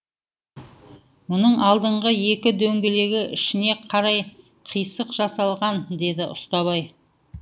мұның алдынғы екі дөңгелегі ішіне қарай қисық жасалған деді ұстабай